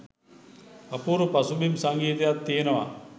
අපූරු පසුබිම් සංගීතයක් තියෙනවා.